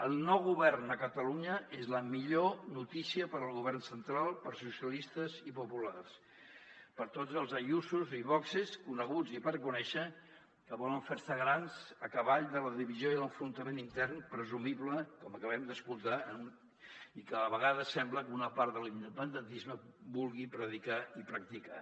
el nou govern a catalunya és la millor notícia per al govern central per a socialistes i populars per a tots els ayusos i voxs coneguts i per conèixer que volen fer se grans a cavall de la divisió i l’enfrontament intern presumible com acabem d’escoltar i que a la vegada sembla que una part de l’independentisme vulgui predicar i practicar